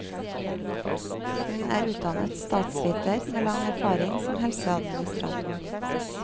Hun er utdannet statsviter, med lang erfaring som helseadministrator.